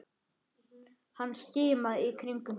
Hann skimaði í kringum sig.